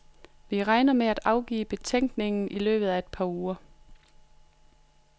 Vi regner med at afgive betænkning i løbet af et par uger.